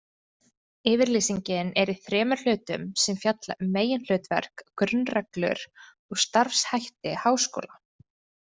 Yfirlýsingin er í þremur hlutum sem fjalla um meginhlutverk, grunnreglur og starfshætti háskóla.